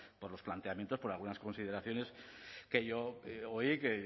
por los planteamientos por algunas consideraciones que yo oí